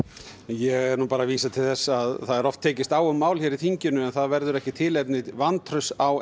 ég er nú bara að vísa til þess að það er oft tekist á um mál hér á þinginu en það verður ekki tilefni til vantrausts á